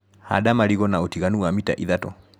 Handa marigũ na ũtiganu wa mita ithatũ.